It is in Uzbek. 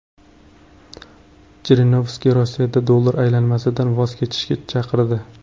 Jirinovskiy Rossiyada dollar aylanmasidan voz kechishga chaqirdi.